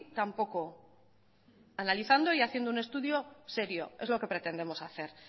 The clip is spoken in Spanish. tampoco analizando y haciendo un estudio serio es lo que pretendemos hacer